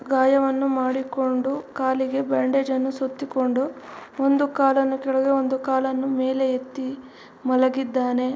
ಗಾಯವನ್ನು ಮಾಡಿಕೊಂಡು ಕಾಲಿಗೆ ಬ್ಯಾಂಡೇಜನ್ನು ಸುತ್ತಿಕೊಂಡು ಒಂದು ಕಾಲನ್ನು ಕೆಳಗೆ ಒಂದು ಕಾಲನ್ನು ಮೇಲೆ ಎತ್ತಿ ಮಲಗಿದ್ದಾನೆ.